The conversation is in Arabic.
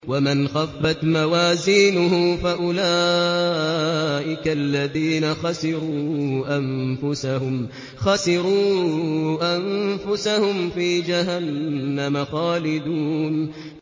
وَمَنْ خَفَّتْ مَوَازِينُهُ فَأُولَٰئِكَ الَّذِينَ خَسِرُوا أَنفُسَهُمْ فِي جَهَنَّمَ خَالِدُونَ